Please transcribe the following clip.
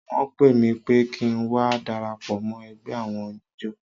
Wọ́n pè mí pé kí ń wá darapọ̀ mọ́ ẹgbẹ́ àwọn oníjó.